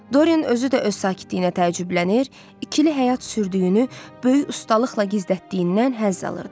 Dorian özü də öz sakitliyinə təəccüblənir, ikili həyat sürdüyünü böyük ustalıqla gizlətdiyindən həzz alırdı.